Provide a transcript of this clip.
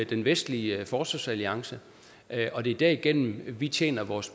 den vestlige forsvarsalliance og det er derigennem vi tjener vores